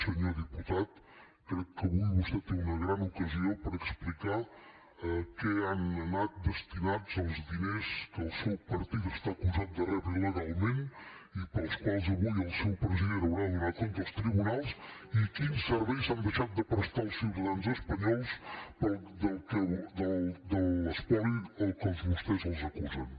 senyor diputat crec que avui vostè té una gran ocasió per explicar a què han anat destinats els diners que el seu partit està acusat de rebre il·legalment i pels quals avui el seu president haurà de donar compte als tribunals i quins serveis s’han deixat de prestar als ciutadans espanyols per l’espoli del que a vostès els acusen